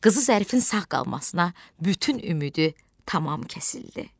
Qızı zərifin sağ qalmasına bütün ümidi tamam kəsildi.